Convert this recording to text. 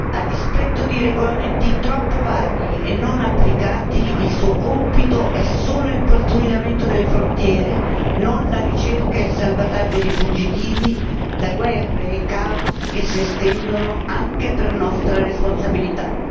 A dispetto di regolamenti troppo vaghi e non applicati, il suo compito è solo il pattugliamento delle frontiere e non la ricerca e il salvataggio di fuggitivi da guerre e caos che si estendono anche per nostra responsabilità.